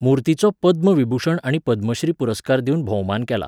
मूर्तीचो पद्म विभूषण आनी पद्मश्री पुरस्कार दिवन भोवमान केला.